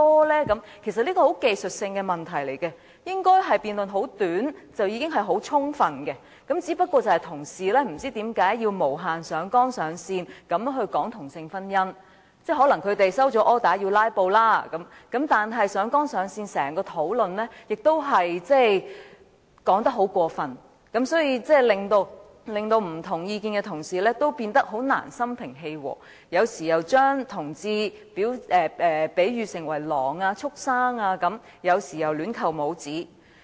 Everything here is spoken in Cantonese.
這其實是很技術性的問題，應該只需短時間的辯論便已很充分，但不知為何同事要無限上綱上線地討論同性婚姻，可能他們收到 order 要"拉布"；但他們在整個討論中上綱上線，說話亦很過分，令持不同意見的同事難以心平氣和，而一些議員有時又把同志比喻為狼或畜牲，有時又亂扣帽子。